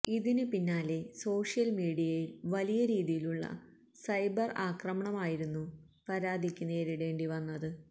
ഇതിന് പിന്നാലെ സോഷ്യല് മീഡിയയില് വലിയ രീതിയിലുള്ള സൈബര് ആക്രമണമായിരുന്നു പാര്വതിക്ക് നേരിടേണ്ടി വന്നത്